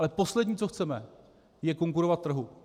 Ale poslední, co chceme, je konkurovat trhu.